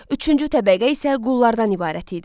Üçüncü təbəqə isə qullardan ibarət idi.